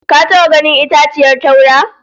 Ka taba ganin itaciyar taura?